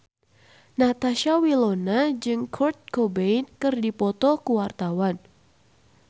Natasha Wilona jeung Kurt Cobain keur dipoto ku wartawan